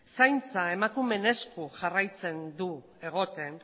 zaintza emakumeen esku